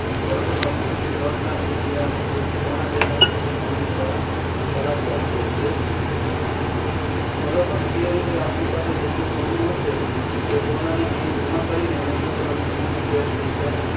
સોનુ કેટલું છે એના સિતેર ટકા કે પંચોતેર ટકા જેટલી loan કરાવી આપીએ છીએ જેમકે અત્યારે પચાસ હજાર રૂપિયા ભાવ છે તો આપણી પાસે પાંચ તોલા સોનુ છે તો એનું અઢી લાખ રૂપિયા થયો